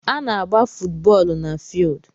Ana agba footu bóólú na fieeldu